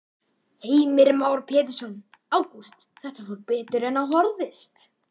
Heimir Már Pétursson: Ágúst, þetta fór betur en á horfðist?